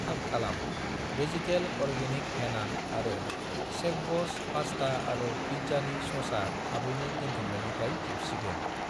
थाब खालाम, vegetable organic हेना आरो शेफब'स पास्टा आरो पिज्जानि ससआ थाबैनो दोनथुमनायनिफ्राय जोबसिगोन